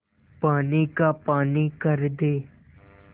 पानी का पानी कर दे